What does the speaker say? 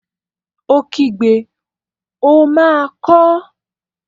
Ó pariwo, 'ó máa kọọ́!